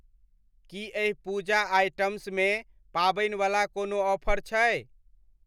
की एहि पूजा आइटम्समे पाबनिवला कोनो ऑफर छै ?